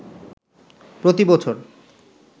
প্রতি বছর